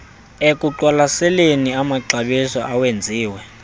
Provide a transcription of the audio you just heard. ekuqwalaseleni amaxabiso awenziwe